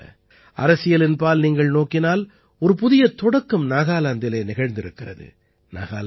அதே போல அரசியலின் பால் நீங்கள் நோக்கினால் ஒரு புதிய தொடக்கம் நாகாலாந்திலே நிகழ்ந்திருக்கிறது